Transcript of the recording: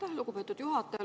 Aitäh, lugupeetud juhataja!